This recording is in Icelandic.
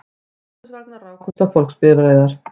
Strætisvagnar rákust á fólksbifreiðar